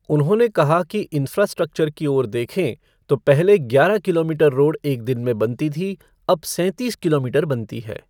उन्होंने कहा कि इंफ़्रास्ट्रक्चर की ओर देखें तो पहले ग्यारह किलोमीटर रोड एक दिन में बनता था, अब सैंतीस किलोमीटर बनता है।